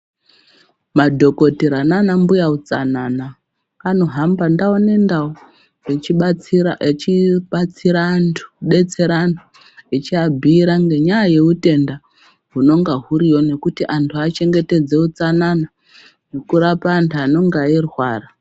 Madhokodhera nana mbuya utsanana vanohamba ntau nentau vechibatsira antu , vachiabhuyira ngenyaya youtenda hunenge huriyo nokuti vantu vachengetedze hutsanana ngekurapa vantu vanenge veirwara.